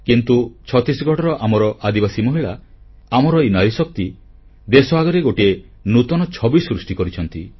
କିନ୍ତୁ ଛତିଶଗଡ଼ର ଆମର ଆଦିବାସୀ ମହିଳା ଆମର ଏହି ନାରୀଶକ୍ତି ଦେଶ ଆଗରେ ଗୋଟଏ ନୂତନ ଛବି ସୃଷ୍ଟି କରିଛନ୍ତି